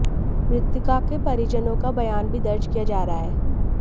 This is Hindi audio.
मृतका के परिजनों का बयान भी दर्ज किया जा रहा है